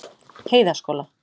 Heiðaskóla